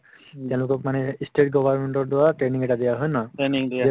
তেওঁলোকক মানে ই state government ৰ দ্ৱাৰা training এটা দিয়া হয়নে নহয়